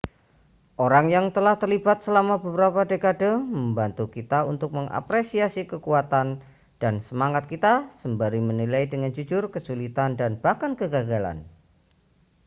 orang yang telah terlibat selama beberapa dekade membantu kita untuk mengapresiasi kekuatan dan semangat kita sembari menilai dengan jujur kesulitan dan bahkan kegagalan